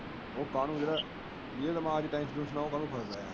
ਓ ਕਾਹਨੂੰ ਜਿੰਦੇ ਦਿਮਾਗ ਚ ਟੇਂਸ਼ਨ ।